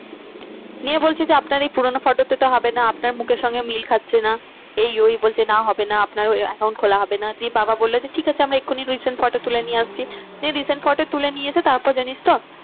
নিয়ে বলছে যে আপনার এই পুরোনো photo তে তো হবে না। আপনার মুখের সঙ্গে মিল খাচ্ছে না। এই ওই বলছে না হবে না আপনার ওই account খোলা হবে না দিয়ে বাবা বললো যে ঠিক আছে আমরা এক্ষুনি recent photo তুলে নিয়ে আসছি। নিয়ে resent photo তুলে নিয়ে এসে তারপর জানিস তো